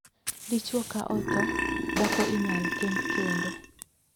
Dichwo ka othoo, dhako inyal kend kendo.